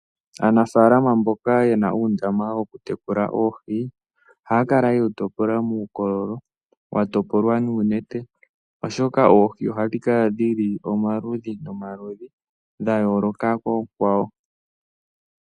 Aanafalama mboka yena undama woku tekula oohi , ohakala yewu topola mukololo watopolwa nunete oshoka oohi ohadhikala dhili omaludhi nomaludhi dhayoloka kokwawo.